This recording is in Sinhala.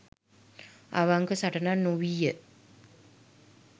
අවංක සටනක් නොවීය.